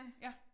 Ja